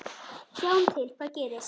Sjáum til hvað gerist